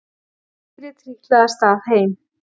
Týri trítlaði af stað heim.